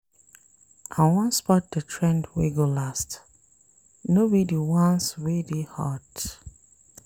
I wan spot di trend wey go last, no be di ones wey dey hot.